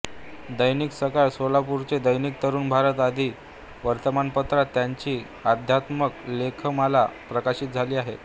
दैनिक सकाळ सोलापूरचे दैनिक तरुण भारत आदी वर्तमानपत्रांत त्यांची अध्यात्मपर लेखमाला प्रकाशित झाली आहे